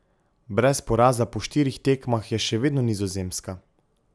Brez poraza po štirih tekmah je še vedno Nizozemska.